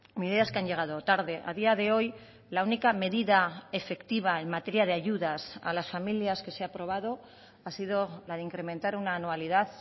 medidas que han llegado tarde a día de hoy la única medida efectiva en materia de ayudas a las familias que se ha aprobado ha sido la de incrementar una anualidad